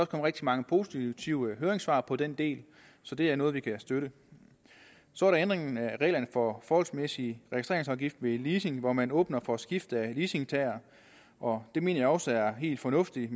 rigtig mange positive høringssvar på den del så det er noget vi kan støtte så er der ændringen af reglerne for forholdsmæssig registreringsafgift ved leasing hvor man åbner for skifte af leasingtager og det mener jeg også er helt fornuftigt